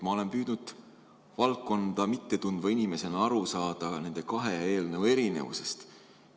Ma olen püüdnud valdkonda mitte tundva inimesena aru saada nende kahe eelnõu erinevusest.